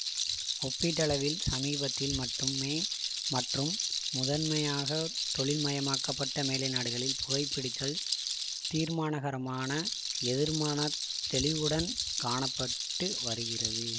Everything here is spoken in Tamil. ஒப்பீட்டளவில் சமீபத்தில் மட்டுமே மற்றும் முதன்மையாக தொழில்மயமாக்கப்பட்ட மேலை நாடுகளில் புகைபிடித்தல் தீர்மானகரமான எதிர்மான தெளிவுடன் காண பட்டு வருகிறது